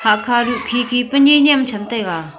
hah kha toh khi khi pe ni nyem tham taiga.